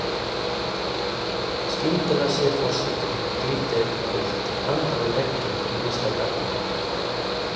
Skyndilega sér forsetinn glitta í eitthvað gult handan við vegginn í næsta garði.